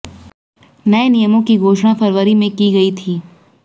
नए नियमों की घोषणा फरवरी में की गई थी